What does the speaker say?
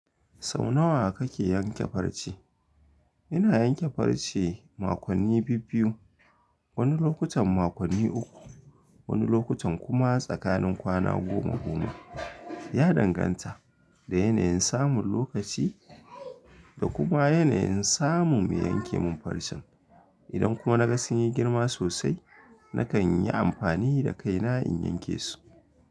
Sau nawa kake yanke farce? Ina yanke farce makonni biyu-biyu, wani lokutan makonni uku, wani lokutan kuma tsakanin kwana goma goma. Ya danganta da yanayin samun lokaci da kuma yanayin samun me yanke min farcen. Idan kuma na ga sun yi girma sosai, nakan yi amfani da kaina in yanke su.